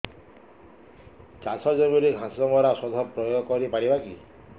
ଚାଷ ଜମିରେ ଘାସ ମରା ଔଷଧ ପ୍ରୟୋଗ କରି ପାରିବା କି